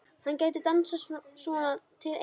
Hann gæti dansað svona til eilífðar.